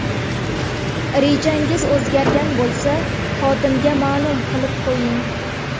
Rejangiz o‘zgargan bo‘lsa, xodimga ma’lum qilib qo‘ying.